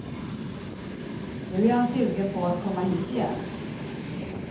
Nu är han sugen på att komma hit igen.